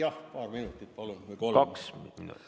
Jah, paar minutit, palun!